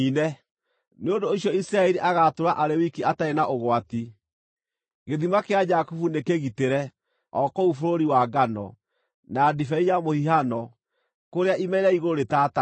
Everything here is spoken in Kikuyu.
Nĩ ũndũ ũcio Isiraeli agaatũũra arĩ wiki atarĩ na ũgwati; gĩthima kĩa Jakubu nĩkĩgitĩre o kũu bũrũri wa ngano, na ndibei ya mũhihano, kũrĩa ime rĩa igũrũ rĩtataga.